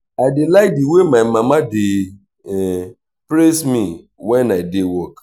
i dey like the way my mama dey praise me wen i dey work